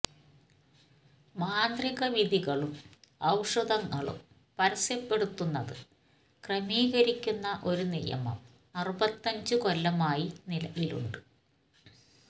മാന്ത്രിക വിധികളും ഔഷധങ്ങളും പരസ്യപ്പെടുത്തുന്നത് ക്രമീകരിക്കുന്ന ഒരു നിയമം അറുപത്തഞ്ചു കൊല്ലമായി നിലവിലുണ്ട്